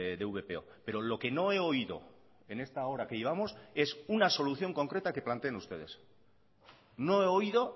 de vpo pero lo que no he oído en esta hora que llevamos es una solución concreta que planteen ustedes no he oído